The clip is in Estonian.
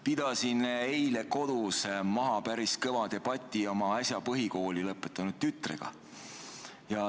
Pidasin eile kodus maha päris kõva debati oma äsja põhikooli lõpetanud tütrega.